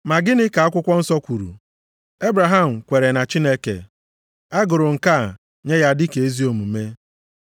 Ma gịnị ka akwụkwọ nsọ kwuru? “Ebraham kweere na Chineke, a gụrụ nke a nye ya dị ka ezi omume.” + 4:3 \+xt Jen 15:6\+xt*